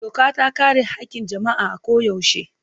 Doka ta kare haƙƙin jama'a a koyaushe.